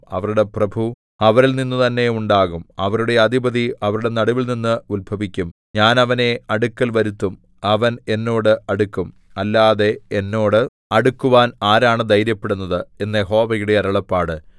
അവരുടെ പ്രഭു അവരിൽ നിന്നുതന്നെ ഉണ്ടാകും അവരുടെ അധിപതി അവരുടെ നടുവിൽനിന്ന് ഉത്ഭവിക്കും ഞാൻ അവനെ അടുക്കൽവരുത്തും അവൻ എന്നോട് അടുക്കും അല്ലാതെ എന്നോട് അടുക്കുവാൻ ആരാണ് ധൈര്യപ്പെടുന്നത് എന്ന് യഹോവയുടെ അരുളപ്പാട്